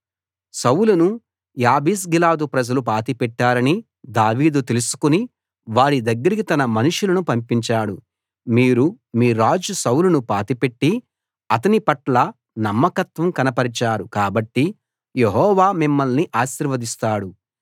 సౌలును యాబేష్గిలాదు ప్రజలు పాతిపెట్టారని దావీదు తెలుసుకుని వారి దగ్గరికి తన మనుషులను పంపించాడు మీరు మీ రాజు సౌలును పాతిపెట్టి అతని పట్ల నమ్మకత్వం కనపరిచారు కాబట్టి యెహోవా మిమ్మల్ని ఆశీర్వదిస్తాడు